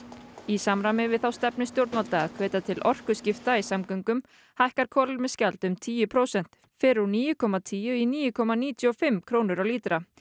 í samræmi við þá stefnu stjórnvalda að hvetja til orkuskipta í samgöngum hækkar kolefnisgjald um tíu prósent fer úr níu komma tíu í níu komma níutíu og fimm krónur á lítra